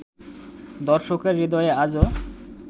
দর্শকের হৃদয়ে আজো